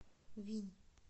винь